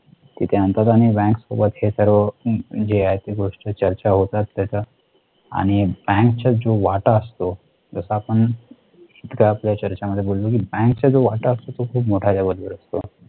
तिथे आणतात आणि bank सोबत हे सर्व जे आहे ते गोष्टी चर्चा होतात याचा आणि bank चा जो वाटा असतो जसं आपण. इथं आपल्या चर्चा मध्ये बोललो कि bank चा जो वाटा असतो तो खूप मोठा असतो.